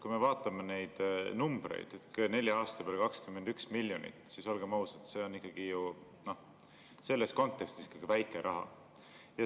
Kui me vaatame neid numbreid, nelja aasta peale 21 miljonit, siis olgem ausad, see on siiski selles kontekstis väike raha.